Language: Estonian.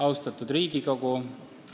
Austatud Riigikogu!